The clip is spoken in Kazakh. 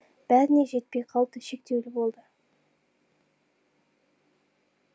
бәріне жетпей қалды шектеулі болды